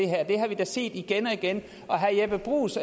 har vi set igen og igen herre jeppe bruus